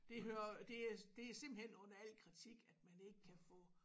Det hører det er det er simpelthen under al kritik at man ikke kan få